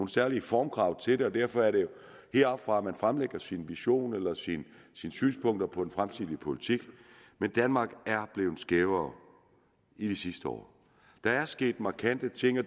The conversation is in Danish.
særlige formkrav til det og derfor er det heroppefra man fremlægger sin vision eller sine synspunkter på den fremstillede politik men danmark er blevet skævere i de seneste år der er sket markante ting og